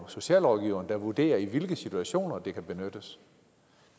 socialrådgiverne der vurderer i hvilke situationer det kan benyttes